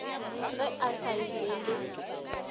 ge a sa ile le